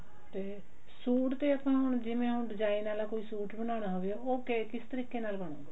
ਤੇ ਸੂਟ ਤੇ ਆਪਾਂ ਨੂੰ ਜਿਵੇਂ ਹੁਣ deign ਆਲਾ ਕੋਈ ਸੂਟ ਬਣਾਨਾ ਹੋਵੇ ਉਹ ਕਿ ਕਿਸ ਤਰੀਕੇ ਨਾਲ ਬਣਦਾ